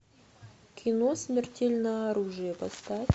кино смертельное оружие поставь